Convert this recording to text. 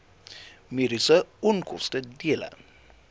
mediese onkoste dele